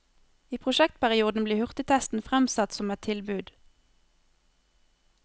I prosjektperioden blir hurtigtesten fremsatt som et tilbud.